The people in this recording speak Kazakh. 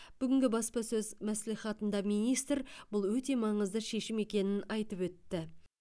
бүгінгі баспасөз мәслихатында министр бұл өте маңызды шешім екенін айтып өтті